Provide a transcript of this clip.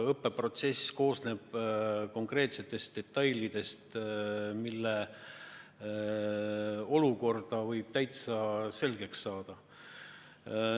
Õppeprotsess koosneb konkreetsetest detailidest, mille olukorra võib täitsa selgeks saada.